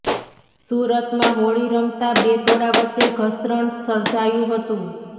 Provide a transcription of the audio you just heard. સુરતમાં હોળી રમતા બે ટોળા વચ્ચે ઘર્ષણ સર્જાયું હતું